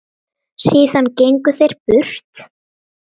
Síðan gengu þeir burt.